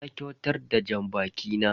Na kyautar da janbaki na.